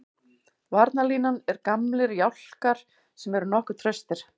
Varnarlínan er gamlir jálkar sem eru nokkuð traustir.